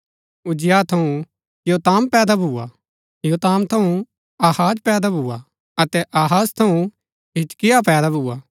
उज्जियाह थऊँ योताम पैदा भुआ योताम थऊँ आहाज पैदा भुआ अतै आहाज थऊँ हिजकिय्याह पैदा भुआ